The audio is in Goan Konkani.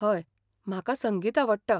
हय, म्हाका संगीत आवडटा.